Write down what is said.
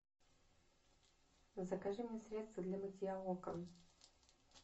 закажи мне средство для мытья окон